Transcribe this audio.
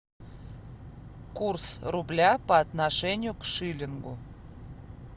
курс рубля по отношению к шиллингу